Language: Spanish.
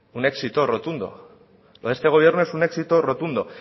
un éxito rotundo con este gobierno es un éxito rotundo